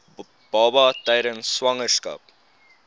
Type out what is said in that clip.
baba tydens swangerskap